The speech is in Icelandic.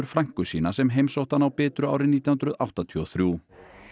frænku sína sem heimsótti hann á Bitru árið nítján hundruð áttatíu og þrjú